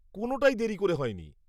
কোনোটাই দেরি করে হয়নি।